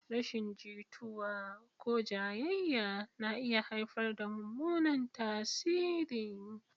Rashin jituwa ko jayayya na iya haifar da mummunan tasiri.